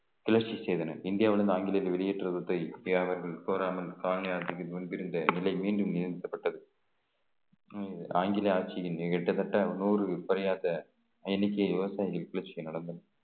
கிளர்ச்சி செய்தனர் இந்தியாவிலிருந்து ஆங்கிலத்தை வெளியேற்றுவதற்கு அவர்கள் கோராமல் காலனி ஆற்றுக்கு முன்பு இருந்த நிலை மீண்டும் நியமிக்கப்பட்டது உம் ஆங்கில ஆட்சியில் கிட்டத்தட்ட நூறு பனியாற்ற எண்ணிக்கை விவசாயிகளுக்கு கிளர்ச்சி நடந்தது